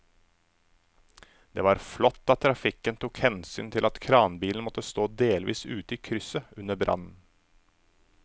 Det var flott at trafikken tok hensyn til at kranbilen måtte stå delvis ute i krysset under brannen.